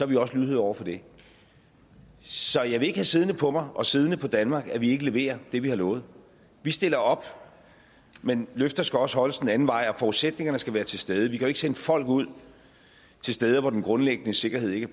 vi også lydhøre over for det så jeg vil ikke have siddende på mig og siddende på danmark at vi ikke leverer det vi har lovet vi stiller op men løfter skal også holdes den anden vej og forudsætningerne skal være til stede vi kan jo ikke sende folk ud til steder hvor den grundlæggende sikkerhed ikke